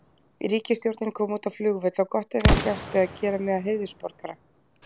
Ríkisstjórnin kom út á flugvöll og gott ef ekki átti að gera mig að heiðursborgara